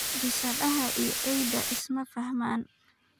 Bisadaha iyo eyda isma faxmaan